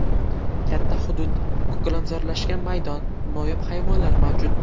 Katta hudud, ko‘kalamzorlashgan maydon, noyob hayvonlar mavjud.